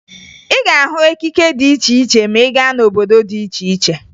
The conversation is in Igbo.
Ị ga-ahụ ekike dị iche iche ma ị gaa n'obodo dị iche iche